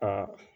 Aa